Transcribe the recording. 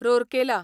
Rourkela